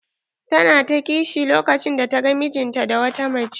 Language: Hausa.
Ta na ta ƙishi lokacin da ta gan mijin ta da wata mace.